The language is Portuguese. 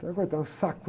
Até, coitada, um saco